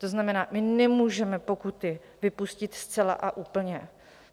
To znamená, my nemůžeme pokuty vypustit zcela a úplně.